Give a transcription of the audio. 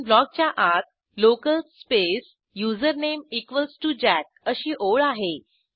function ब्लॉकच्या आत local space username equals T O jackअशी ओळ आहे